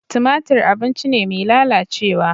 Tumatir abinci ne mai lalacewa.